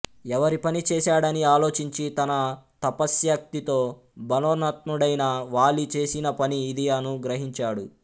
every పని చేశాడని ఆలోచించి తన తపశ్శక్తితో బలోన్మత్తుడైన వాలి చేసిన పని ఇది అను గ్రహించాడు